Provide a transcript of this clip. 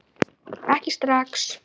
Ekki strax